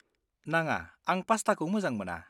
नाङा, आं पास्टाखौ मोजां मोना।